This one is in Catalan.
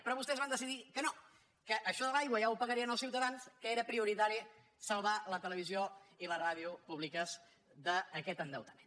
però vostès van decidir que no que això de l’aigua ja ho pagarien els ciutadans que era prioritari salvar la televisió i la ràdio públiques d’aquest endeutament